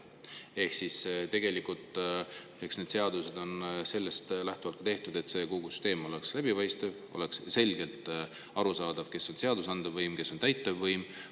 Ehk sellised seadused on tehtud lähtudes põhimõttest, et kogu süsteem peaks olema läbipaistev, nii et oleks selgelt aru saada, kes on seadusandlik võim ja kes on täitevvõim.